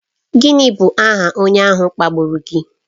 Gịnị bụ aha onye ahụ kpagburu gị?